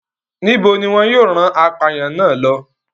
Níbo ni wọn yóò rán ọ̀daràn náà lọ?